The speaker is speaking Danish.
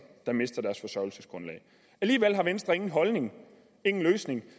der mister deres forsørgelsesgrundlag alligevel har venstre ingen holdning ingen løsning